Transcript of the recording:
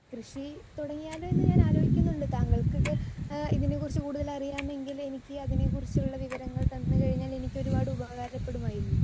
speaker 2 കൃഷി തുടങ്ങിയാലോ എന്ന് ഞാൻ ആലോചിക്കുന്നുണ്ട് താങ്കൾക് ഏഹ് ഇതിനെ കുറിച്ച് കൂടുതൽ അറിയാം എങ്കിൽ എനിക്ക് അതിനെ കുറിച്ചുള്ള വിവരങ്ങൾ തന്നു കഴിഞ്ഞാൽ എനിക്ക് ഒരുപാട് ഉപകാരപ്പെടുമായിരുന്നു